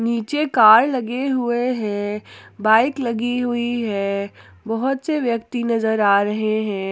नीचे कार लगे हुए हैं बाइक लगी हुई है बहुत से व्यक्ति नजर आ रहे हैं।